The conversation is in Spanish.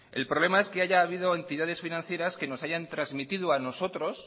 el problema es que haya habido entidades financieras que nos hayan trasmitido a nosotros